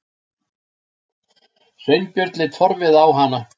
Sveinbjörn leit forviða á hana.